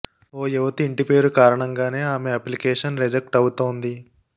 ఓ యువతి ఇంటి పేరు కారణాంగానే ఆమె అప్లికేషన్ రిజెక్ట్ అవుతోంది